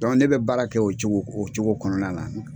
ne bɛ baara kɛ o cogo o cogo kɔnɔna na.